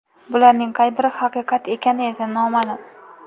Bularning qay biri haqiqat ekani esa noma’lum.